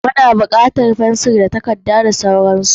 Muna bukatar abubuwa kamar fensir da takarda da dai sauransu.